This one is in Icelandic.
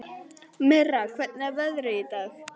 Mirra, hvernig er veðrið í dag?